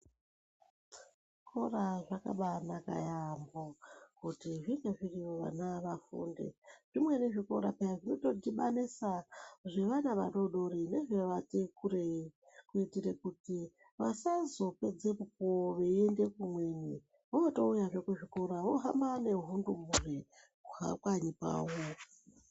Zvikora zvakabaanaka yaambo kuti zvinge zviriyo vana vafunde. Zvimweni zvikora peya zvinotodhibanisa zvevana vadoodori nezvevati kurei. Kuitire kuti vasazopedze mukuwo veiende kumweni vootouyazve kuzvikora vohamba ngehundumure kubva kanyi kwavo.